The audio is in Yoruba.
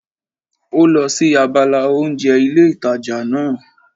Ó lọ sí abala oúnjẹ ilé ìtajà náà